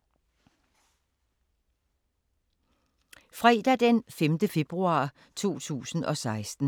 Fredag d. 5. februar 2016